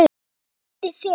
Þetta er Diddi þinn.